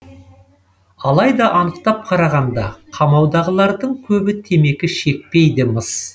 алайда анықтап қарағанда қамаудағылардың көбі темекі шекпейді мыс